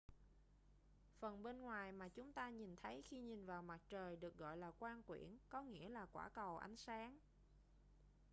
phần bên ngoài mà chúng ta nhìn thấy khi nhìn vào mặt trời được gọi là quang quyển có nghĩa là quả cầu ánh sáng